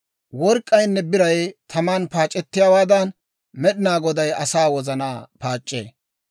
Work'k'aynne biray taman paac'ettiyaawaadan, Med'inaa Goday asaa wozanaa paac'c'ee.